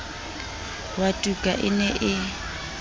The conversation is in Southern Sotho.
wa tuka e ne e